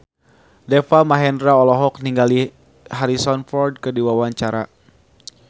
Deva Mahendra olohok ningali Harrison Ford keur diwawancara